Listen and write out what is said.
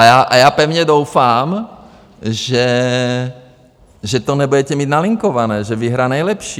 A já pevně doufám, že to nebudete mít nalinkované, že vyhraje nejlepší.